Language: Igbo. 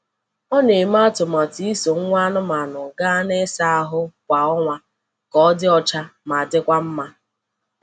O na-eme atụmatụ iso nwa anụmanụ gaa n’ịsa ahụ kwa ọnwa ka ọ dị ọcha ma dịkwa mma.